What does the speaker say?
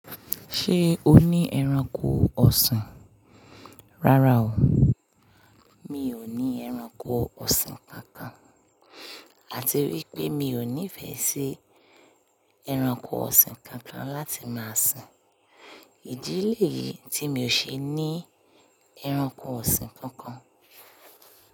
Ṣé o ní ẹranko ọ̀sìn? Rárá o, mi ò ní ẹranko ọ̀sìn kankan. Àti wípé mi ò nífẹ̀ẹ́ sí ẹranko ọ̀sìn kankan láti máa sìn. Ìdí lé yìí tí mi ò ṣe ní ẹranko ọ̀sìn kankan.